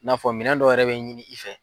I n'a fɔ minɛn dɔ yɛrɛ bɛ ɲini i fɛ.